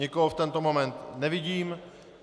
Nikoho v tento moment nevidím.